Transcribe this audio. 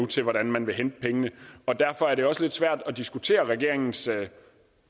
til hvordan man vil hente pengene derfor er det også lidt svært at diskutere regeringens